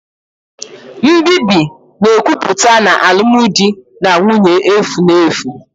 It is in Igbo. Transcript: Nbibi na-ekwupụta na alụmdi na nwunye efu na efu